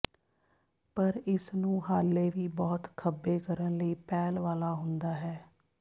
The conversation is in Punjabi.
ਪਰ ਇਸ ਨੂੰ ਹਾਲੇ ਵੀ ਬਹੁਤ ਖੱਬੇ ਕਰਨ ਲਈ ਪਹਿਲ ਵਾਲਾ ਹੁੰਦਾ ਹੈ